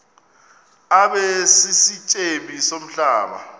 abe sisityebi somhlaba